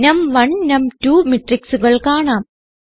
നം1 നം2 മെട്രിക്സുകൾ കാണാം